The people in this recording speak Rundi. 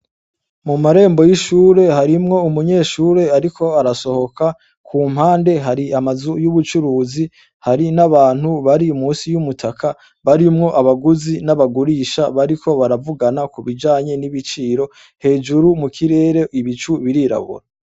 Mu marenbo y' ishure harimw' umunyeshur' arik' arasohoka, ku mpande har' amazu y' ubucuruzi, hari n' abantu bari munsi y' umutaka barinw' abaguzi n' abagurisha, bariko baravugana kubijanye n' ibiciro, hejuru mu kirer'ibicu birirabura.